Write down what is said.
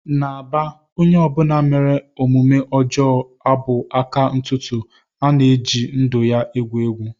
N'Aba onye ọ bụla mere omume ọjọọ a bụ aka ntụtụ na-eji ndụ ya egwu egwu